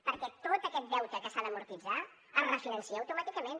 perquè tot aquest deute que s’ha d’amortitzar es refinança auto màticament